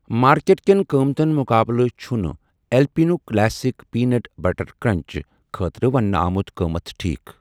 Market کٮ۪ن قۭمٕتن مُقابلہٕ چھ نہٕ Alpino classic peanut butter crunch خٲطرٕ وننہٕ آمُت قۭمَت ٹھیٖک۔